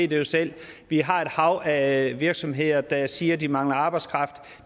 det jo selv vi har et hav af virksomheder der siger at de mangler arbejdskraft